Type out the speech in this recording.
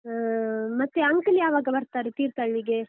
ಹ್ಮ್, ಮತ್ತೆ uncle ಯಾವಾಗ ಬರ್ತಾರೆ ತೀರ್ಥಳ್ಳಿಗೆ?